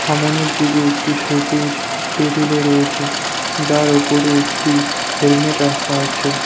সামোনের দিকে একটি সবুজ টেবিল -ও রয়েছে যার উপরে একটি হেলমেট রাখা আছে।